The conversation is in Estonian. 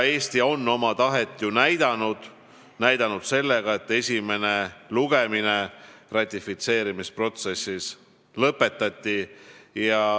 Eesti on oma tahet ju näidanud, ta on seda näidanud sellega, et esimene lugemine ratifitseerimisprotsessis lõpetati.